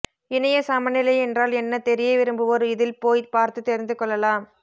இணையச் சமநிலை என்றால் என்ன தெரிய விரும்புவோர் இதில் போய்ப் பார்த்துத் தெரிந்து கொள்ளலாம்